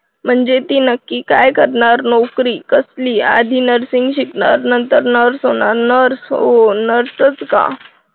म्हणजे ती नक्की काय करणार नोकरी कसली आधी nursing शिकणार मग नंतर नाही होणार nurse होऊन nurse च का